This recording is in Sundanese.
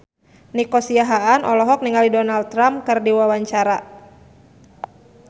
Nico Siahaan olohok ningali Donald Trump keur diwawancara